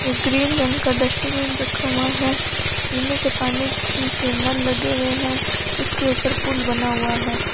एक ग्रीन रंग का डस्टबिन रखा हुआ है पीने के पानी के ना लगे हुए हैं इसके ऊपर पुल बना हुआ है।